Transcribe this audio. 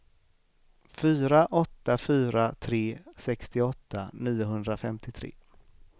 fyra åtta fyra tre sextioåtta niohundrafemtiotre